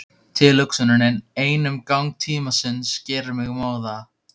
Tilhugsunin ein um gang tímans gerir mig móða.